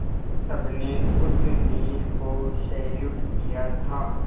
सबने उस वीर को सैल्यूट किया था